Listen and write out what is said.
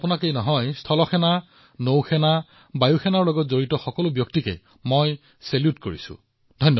আৰু কেৱল আপোনাকেই নহয় আমাৰ আটাইবোৰ সশস্ত্ৰ বাহিনী জল থল নভ সকলোকে ছেলুট জনাইছো